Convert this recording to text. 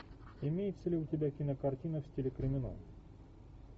имеется ли у тебя кинокартина в стиле криминал